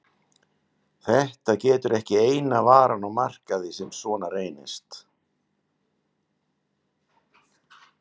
Þetta getur ekki eina varan á markaði sem svona reynist?